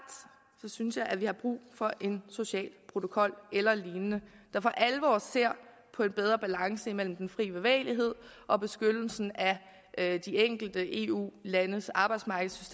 synes jeg vi har brug for en social protokol eller lignende der for alvor ser på en bedre balance imellem den fri bevægelighed og beskyttelsen af de enkelte eu landes arbejdsmarkeds